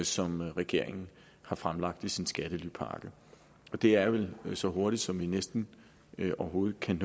som regeringen har fremlagt i sin skattelypakke det er vel så hurtigt som vi næsten overhovedet kan